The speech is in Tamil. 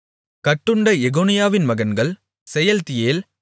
கட்டுண்ட எகொனியாவின் மகன்கள் செயல்தியேல்